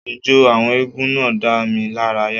Ijó àwọn eégún náà dá mi lára yà